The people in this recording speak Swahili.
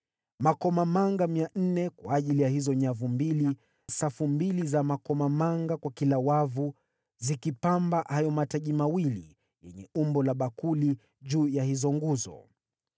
makomamanga 400 kwa ajili ya hizo nyavu mbili (safu mbili za makomamanga kwa kila wavu, yakipamba hayo mataji mawili yenye umbo la bakuli juu ya hizo nguzo);